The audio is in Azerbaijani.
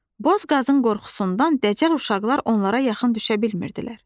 Boz qazın qorxusundan dəcəl uşaqlar onlara yaxın düşə bilmirdilər.